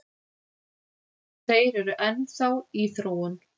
Þeir eru enn þá í þróun